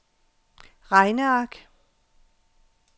regneark